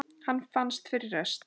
Hann fannst fyrir rest!